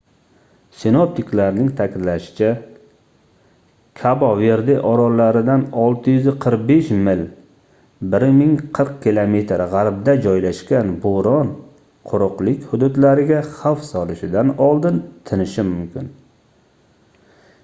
sinoptiklarning ta'kidlashicha kabo-verde orollaridan 645 mil 1040 km g'arbda joylashgan bo'ron quruqlik hududlariga xavf solishidan oldin tinishi mumkin